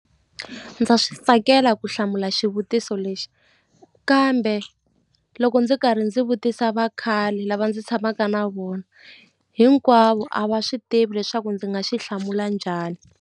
Ndza swi tsakela ku hlamula xivutiso lexi kambe loko ndzi karhi ndzi vutisa vakhale lava ndzi tshamaka na vona hinkwavo a va swi tivi leswaku ndzi nga xi hlamula njhani.